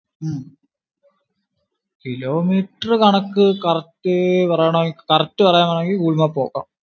kilometer കണക്കു correct പറയാനാണെങ്കിൽ google map നോക്കണം.